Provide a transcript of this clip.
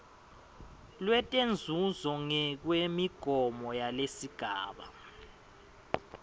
letinzuzo ngekwemigomo yalesigaba